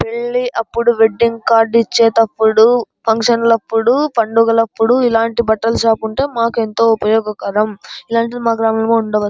పెళ్లి అప్పుడు wedding card ఇచ్చేటప్పుడు ఫంక్షన్ లప్పుడు పండుగు లప్పుడు ఇలాంటి బట్టలు షాప్ ఉంటే మాకు ఎంతో ఉపయోగకరం ఇలాంటిది మా గ్రామం లో ఉండదు.